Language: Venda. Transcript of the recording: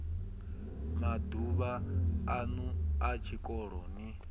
maduvha anu a tshikolo ni